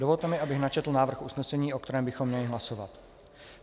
Dovolte mi, abych načetl návrh usnesení, o kterém bychom měli hlasovat.